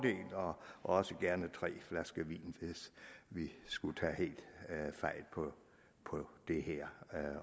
også gerne tre flasker vin hvis vi skulle tage helt fejl på det her